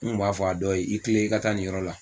N tun b'a fɔ a dɔ ye i tilen i ka taa nin yɔrɔ la